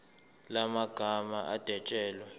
la magama adwetshelwe